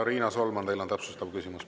Riina Solman, teil on täpsustav küsimus.